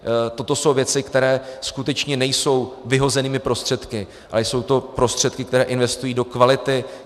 Toto jsou věci, které skutečně nejsou vyhozenými prostředky, ale jsou to prostředky, které investují do kvality.